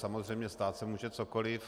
Samozřejmě stát se může cokoli.